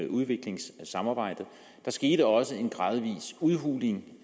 udviklingssamarbejdet der skete også en gradvis udhuling